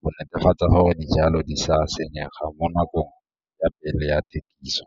go netefatsa gore dijalo di sa senyega mo nakong ya pele ya thekiso.